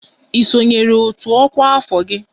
Ị sonyeere otu ọkwa afọ gị?